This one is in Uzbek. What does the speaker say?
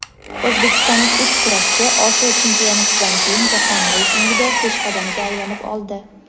O‘zbekistonlik uch kurashchi Osiyo Chempionatidan keyin jahon reytingida peshqadamga aylanib oldi.